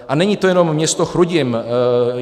A není to jenom město Chrudim.